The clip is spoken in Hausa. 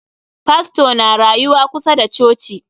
Fastor na rayuwa kusa da coci.